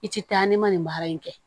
I ti taa ni ma nin baara in kɛ